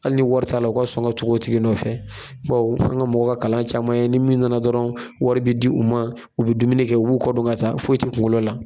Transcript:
Hali ni wari t'a la ka sɔn ka tugu o tigi nɔfɛ bawo an ka mɔgɔw ka kalan caman ye ni min nana dɔrɔn wari bi di u ma u bɛ dumuni kɛ k'u kɔ don ka taa foyi ti kunkolo la.